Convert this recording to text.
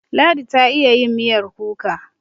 Ladi ta iya yin miyar kuka.